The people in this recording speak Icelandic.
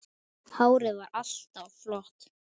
Hárið var alltaf flott.